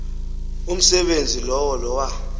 umsebenzi lowo lowa